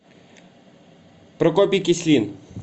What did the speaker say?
прокопий кислин